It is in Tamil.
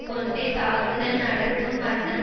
கொண்டே தாக்குதல் நடத்தும் வண்ணம்